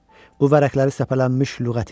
Bu vərəqləri səpələnmiş lüğət idi.